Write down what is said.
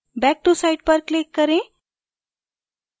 back to site पर click करें